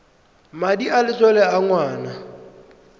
madi a letlole a ngwana